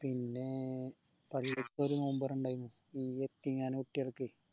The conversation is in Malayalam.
പിന്നേ പള്ളിക്കൊരു നോമ്പ് തൊറ ഇണ്ടായിനു ഈ യത്തീംഖാന കുട്ട്യാൾക്ക്